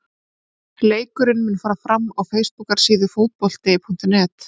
Leikurinn mun fara fram á fésbókarsíðu Fótbolti.net.